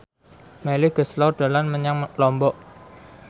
Melly Goeslaw dolan menyang Lombok